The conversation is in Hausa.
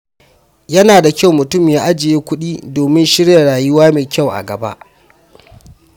Yana da kyau mutum ya ajiye kuɗi domin shirya rayuwa mai kyau a gaba.